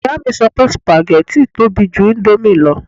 Ìyá mi sọ pé sùpàgẹ́tì tóbi ju íńdómì lọ